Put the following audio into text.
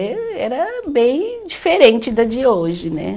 Eh, era bem diferente da de hoje, né?